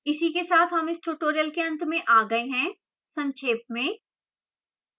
इसी के साथ हम इस tutorial के अंत में आ गए हैं